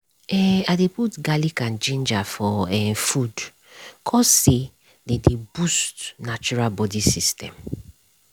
eh i dey put garlic and ginger for ehh food cause say dey dey boost natural body system.